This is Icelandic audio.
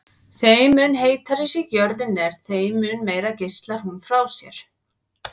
Þeim mun heitari sem jörðin er þeim mun meira geislar hún frá sér.